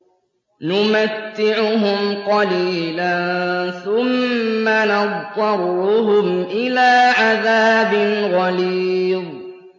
نُمَتِّعُهُمْ قَلِيلًا ثُمَّ نَضْطَرُّهُمْ إِلَىٰ عَذَابٍ غَلِيظٍ